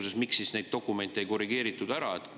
Ja miks siis neid dokumente ei korrigeeritud ära?